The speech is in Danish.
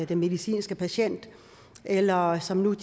den medicinske patient eller som nu i